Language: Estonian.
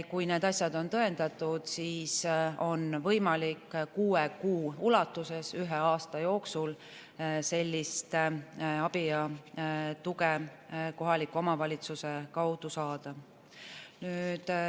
Kui need asjad on tõendatud, siis on võimalik kuue kuu ulatuses ühe aasta jooksul sellist abi ja tuge kohaliku omavalitsuse kaudu saada.